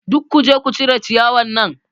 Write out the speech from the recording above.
Duk kuje ku cire ciyawan nan!